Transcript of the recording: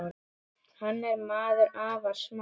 Hann er maður afar smár.